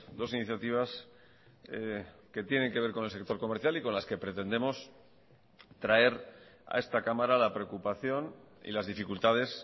dos iniciativas que tienen que ver con el sector comercial y con las que pretendemos traer a esta cámara la preocupación y las dificultades